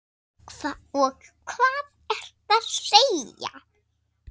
Og hvað ertu að segja?